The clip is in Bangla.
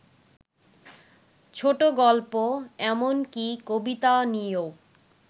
ছোটগল্প এমনকি কবিতা নিয়েও